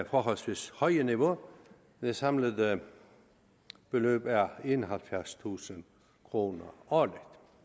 forholdsvis høje niveau det samlede beløb er enoghalvfjerdstusind kroner årligt